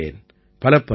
பலப்பல நன்றிகள்